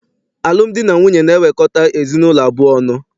Alụmdi na nwunye na-ewekọta ezinaụlọ abụọ ọnụ.